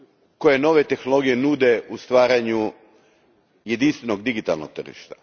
koje nove tehnologije nude u stvaranju jedinstvenog digitalnog tržišta.